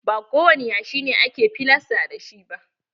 Ba kowani yashi ake filasta da shi ba.